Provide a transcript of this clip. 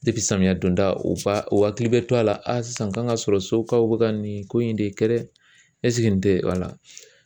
samiya donda o ba u hakili bɛ to a la a sisan kan ka sɔrɔ sokaw bɛ ka nin ko in de kɛ dɛ nin tɛ wala.